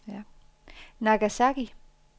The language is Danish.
Nagasaki